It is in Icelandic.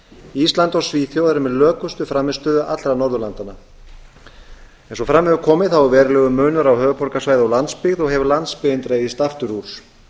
ísland og svíþjóð eru með lökustu frammistöðu allra norðurlandanna eins og fram hefur komið er verulegur munur á höfuðborgarsvæði og landsbyggð og hefur landsbyggðin dregist aftur